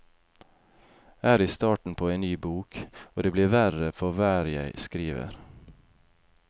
Er i starten på en ny bok, og det blir verre for hver jeg skriver.